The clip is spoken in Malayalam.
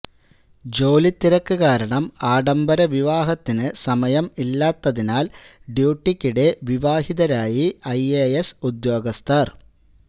ജോലിത്തിരക്ക് കാരണം ആഡംബര വിവാഹത്തിന് സമയം ഇല്ലാത്തതിനാൽ ഡ്യൂട്ടിക്കിടെ വിവാഹിതരായി ഐ എ എസ് ഉദ്യോഗസ്ഥർ